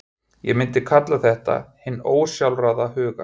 Ég myndi kalla þetta hinn ósjálfráða huga.